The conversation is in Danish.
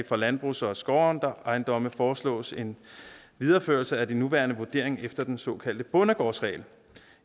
for landbrugs og skovejendomme foreslås en videreførelse af de nuværende vurderinger efter den såkaldte bondegårdsregel